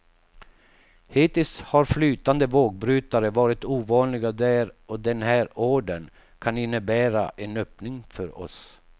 Hittills har flytande vågbrytare varit ovanliga där och den här ordern kan innebära en öppning för oss.